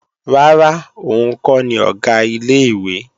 Rárá, òun kọ́ ni Ọ̀gá ilé-ìwé